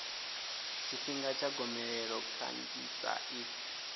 tshifhinga tsha gomelelo kanzhisa i